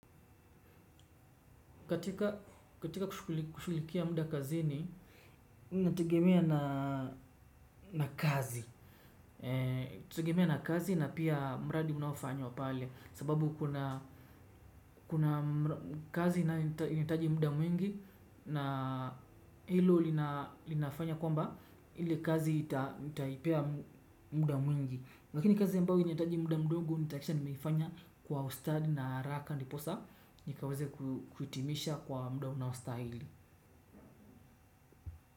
Katika kushughulikia muda kazini, inategemea na kazi. Itategemea na kazi na pia mradi unaofanywa pale. Sababu kuna kazi inayohitaji muda mwingi na hilo lina linafanya kwamba ile kazi nitaipea muda mwingi. Lakini kazi ambayo inahitaji muda mdogo nitahakikisha nimeifanya kwa ustadi na haraka ndiposa nikaweze kuhitimisha kwa muda unaostahili.